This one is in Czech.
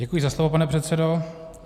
Děkuji za slovo, pane předsedo.